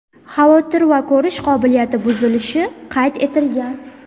xavotir va ko‘rish qobiliyati buzilishi qayd etilgan.